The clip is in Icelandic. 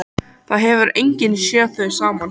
Það hefur enginn séð þau saman.